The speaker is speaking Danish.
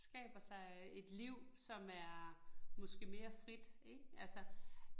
Skaber sig et liv, som er måske mere frit ik altså